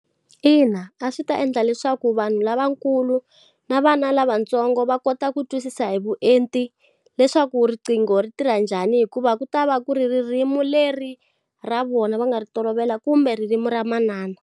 Ina, a swi ta endla leswaku vanhu lavakulu, na vana lavatsongo va kota ku twisisa hi vuenti leswaku riqingho ri tirha njhani hikuva ku ta va ku ri ririmi leri ra vona va nga ri tolovela kumbe ririmi ra manana.